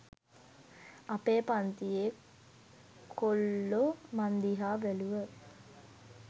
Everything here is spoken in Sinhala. අපේ පංතියෙ කොල්ලො මං දිහා බැලුව